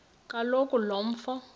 kaloku lo mfo